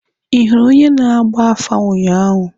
Ị hụrụ onye na-agba afa ụnyaahụ?